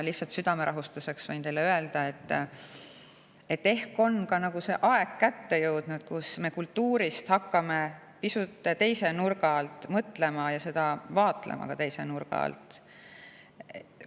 Lihtsalt südame rahustamiseks võin teile öelda, et ehk on kätte jõudnud see aeg, kui me hakkame kultuurist pisut teise nurga alt mõtlema ja seda ka teise nurga alt vaatlema.